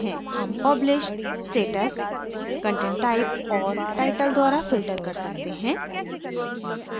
हम publish status content type और title द्वारा filter कर सकते हैं